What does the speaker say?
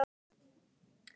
Pabbi er úr sveit.